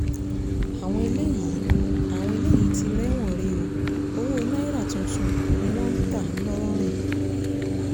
àwọn eléyìí àwọn eléyìí ti rẹ́wọ̀n he ọ́ owó náírà tuntun ni wọ́n ń ta ńlọrọrìn